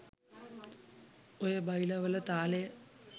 ඔය බයිලා වල තාලය